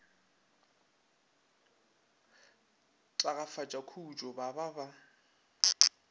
tagafatša khutšo ba ba ba